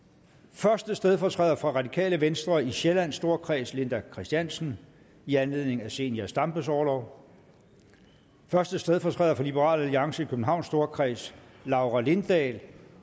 første stedfortræder for radikale venstre i sjællands storkreds linda kristiansen i anledning af zenia stampes orlov første stedfortræder for liberal alliance i københavns storkreds laura lindahl